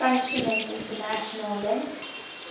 functioning international link